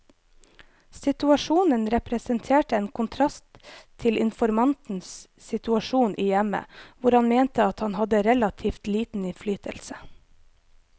Situasjonen representerte en kontrast til informantens situasjon i hjemmet, hvor han mente at han hadde relativt liten innflytelse.